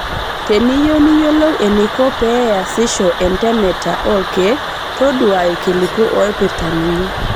Teniyieu niyiolou eneiko pee easisho entemeta olkeek todua ilkiliku oipirta ninye.